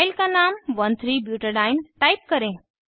file का नाम 13 butadiene type करें